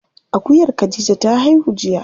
Akuyar khadija ta haihu jiya.